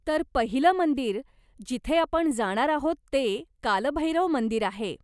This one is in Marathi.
तर पहिलं मंदिर, जिथे आपण जाणार आहोत ते, काल भैरव मंदिर आहे.